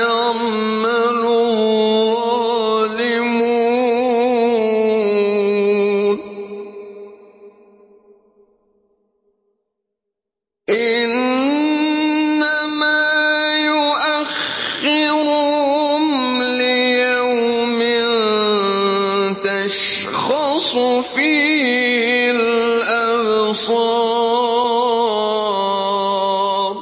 يَعْمَلُ الظَّالِمُونَ ۚ إِنَّمَا يُؤَخِّرُهُمْ لِيَوْمٍ تَشْخَصُ فِيهِ الْأَبْصَارُ